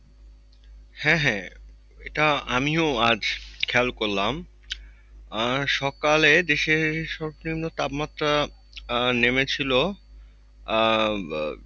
হ্যাঁ হ্যাঁ এটা আমিও আজ খেয়াল করলাম। সকালে দেশের নিম্ন তাপমাত্রা আহ নেমছিল আহ